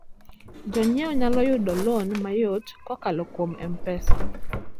Jonyiewo nyalo yudo lon mayot kokalo kuom M-Pesa.